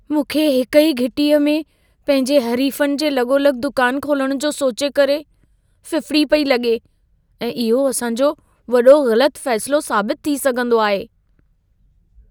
मूंखे हिकु ई घिटीअ में पंहिंजे हरीफ़नि जे लॻोलॻि दुकान खोलणु जो सोचे करे फिफिड़ी पेई लॻे ऐं इहो असां जो वॾो ग़लत फ़ैसिलो साबित थी सघंदो आहे।